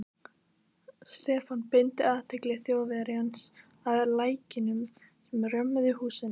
Stefán beindi athygli Þjóðverjans að lækjunum sem römmuðu húsin inn.